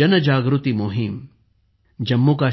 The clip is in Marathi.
जनजागृती मोहीम